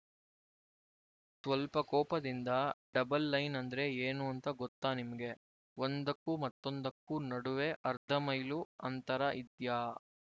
ಸ್ವಲ್ಪ ಕೋಪದಿಂದ double line ಅಂದ್ರೆ ಏನು ಅಂತ ಗೊತ್ತಾ ನಿಮ್ಗೆ ಒಂದಕ್ಕೂ ಮತ್ತೊಂದಕ್ಕೂ ನಡುವೆ ಅರ್ಧ ಮೈಲು ಅಂತರ ಇದ್ಯಾ